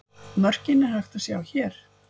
Mörkin er hægt að sjá hér.